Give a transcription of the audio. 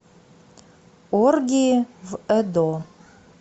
оргии в эдо